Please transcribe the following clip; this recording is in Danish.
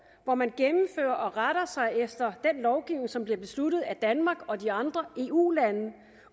hvor man gennemfører og retter sig efter den lovgivning som bliver besluttet af danmark og de andre eu lande